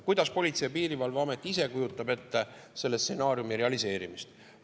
Kuidas Politsei‑ ja Piirivalveamet ise kujutab ette selle stsenaariumi realiseerimist?